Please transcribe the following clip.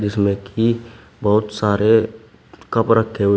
इसमें की बहुत सारे कप रखे हुए--